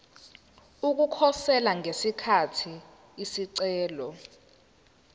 ukukhosela ngesikhathi isicelo